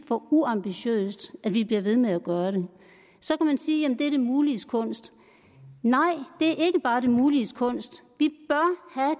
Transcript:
for uambitiøst at vi bliver ved med at gøre det så kan man sige jamen det er det muliges kunst nej det er ikke bare det muliges kunst